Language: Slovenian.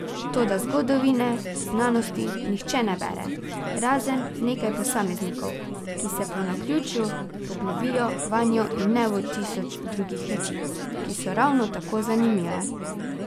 Toda zgodovine znanosti nihče ne bere, razen nekaj posameznikov, ki se po naključju poglobijo vanjo in ne v tisoč drugih reči, ki so ravno tako zanimive.